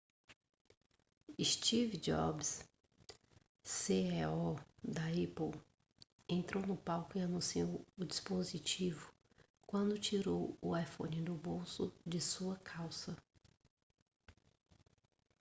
steve jobs ceo da apple entrou no palco e anunciou o dispositivo quando tirou o iphone do bolso de sua calça